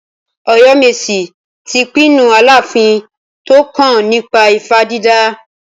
Oyomesi ti pinnu Aláàfin tó kàn nípa ifá dídà.